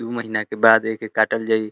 दु महीना के बाद एके काटल जाई।